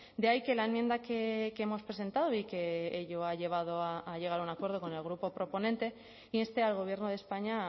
de ahí que la enmienda que hemos presentado y que ello ha llevado a llegar a un acuerdo con el grupo proponente inste al gobierno de españa